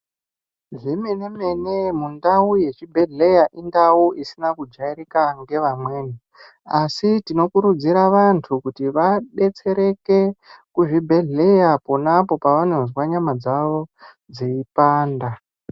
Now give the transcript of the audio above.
Zvemene-mene mundau yechibhedhleya indau isina kujairika ngevamweni. Asi tinokurudzira vantu kuti vabetsereke kuzvibhedhleya ponaapo pavanozwa nyama dzavo dzeipanda.